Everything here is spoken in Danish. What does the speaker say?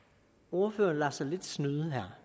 når herre anders samuelsen